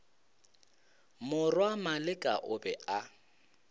morwa maleka o be a